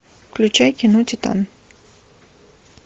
включай кино титан